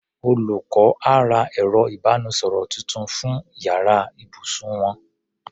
Olùkọ́ á ra ẹ̀rọ ìbánisọ̀rọ̀ tuntun fún yàrá ibùsùn wọn.